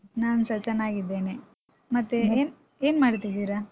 ನಾನ್ಸ ಚೆನ್ನಾಗಿದ್ದೇನೆ. ಮತ್ತೆ ಏನ್~ ಏನ್ ಮಾಡ್ತಿದಿರಾ?